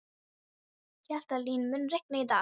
Hjaltalín, mun rigna í dag?